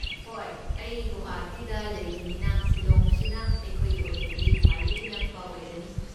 ꯍꯣꯏ, ꯑꯩ ꯒꯨꯋꯥꯍꯥꯇꯤꯗ ꯂꯩꯕꯅꯤꯅ, ꯁꯤꯂꯣꯡꯁꯤꯅ ꯑꯩꯈꯣꯏꯒꯤ ꯑꯣꯏꯅꯗꯤ ꯈ꯭ꯋꯥꯏꯗꯒꯤ ꯅꯛꯄ ꯑꯣꯏꯔꯅꯤ꯫